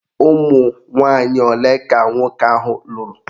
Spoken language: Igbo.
Ụmụnwanyị ole ka nwoke ahụ lụrụ?